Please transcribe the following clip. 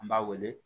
An b'a wele